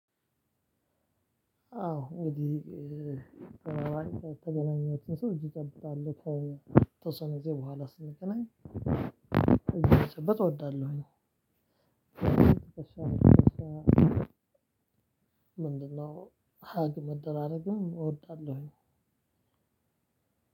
አዎ እንግዲህ የተገናኘሁት ሰው እጅ እጨብጣለሁ ከተወሰነ ጊዜ በኋላ ስንገናኝ እጅ መጨበጥ እወዳለሁኝ። ምንድነው? ሀግ መደራረግ እወዳለሁኝ።